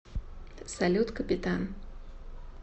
салют капитан